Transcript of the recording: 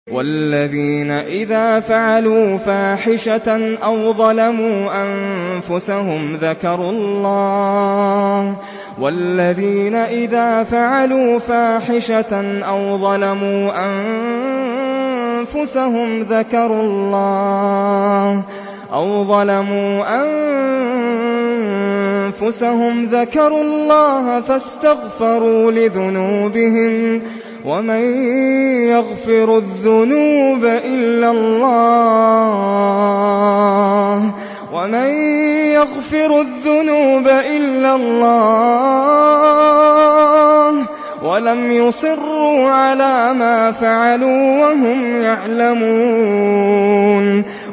وَالَّذِينَ إِذَا فَعَلُوا فَاحِشَةً أَوْ ظَلَمُوا أَنفُسَهُمْ ذَكَرُوا اللَّهَ فَاسْتَغْفَرُوا لِذُنُوبِهِمْ وَمَن يَغْفِرُ الذُّنُوبَ إِلَّا اللَّهُ وَلَمْ يُصِرُّوا عَلَىٰ مَا فَعَلُوا وَهُمْ يَعْلَمُونَ